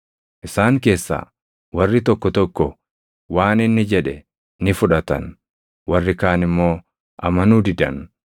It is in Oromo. Isaan keessaa warri tokko tokko waan inni jedhe ni fudhatan; warri kaan immoo amanuu didan.